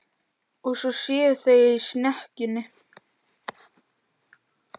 Og svo séu þau í snekkjunni.